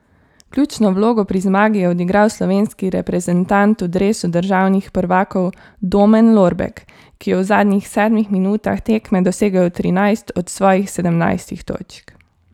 Ključno vlogo pri zmagi je odigral slovenski reprezentant v dresu državnih prvakov Domen Lorbek, ki je v zadnjih sedmih minutah tekme dosegel trinajst od svojih sedemnajstih točk.